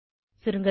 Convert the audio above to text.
சுருங்கசொல்ல